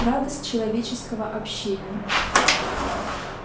радость человеческого общения